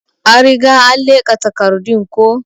An Riga an leka takardun ko.